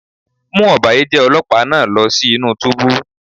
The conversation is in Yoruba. Mú ọ̀bàyéjẹ́ Ọlọ́pàá náà lọ sí inú túbú.